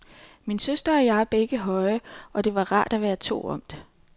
Min søster og jeg er begge høje og det var rart at være to om det.